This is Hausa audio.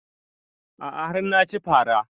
A'a har na ci fara